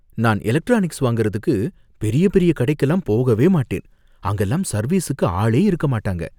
நான் எலக்ட்ரானிக்ஸ் வாங்கறதுக்கு பெரிய பெரிய கடைக்குலாம் போகவே மாட்டேன், அங்கலாம் சர்வீஸுக்கு ஆளே இருக்க மாட்டாங்க